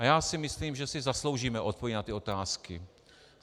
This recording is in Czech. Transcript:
A já si myslím, že si zasloužíme odpověď na ty otázky.